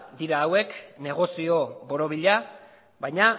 dira hauek negozio borobila baina